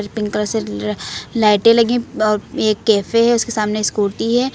Pink colour से अह लाइटें लगी हैं और एक कैफे है उसके सामने स्कूटी है।